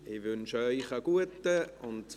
Ich wünsche Ihnen einen guten Appetit.